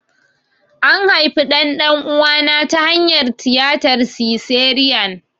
An haifi ɗan ɗan'uwana ta hanyar tiyatar siseriyan.